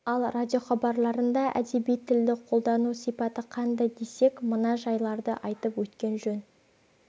ал радиохабарларында әдеби тілді қолдану сипаты қандай десек мына жайларды айтып өткен жөн